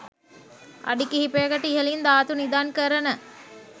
අඩි කිහිපයකට ඉහළින් ධාතු නිදන් කරන